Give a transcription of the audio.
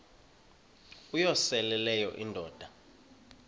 uyosele leyo indoda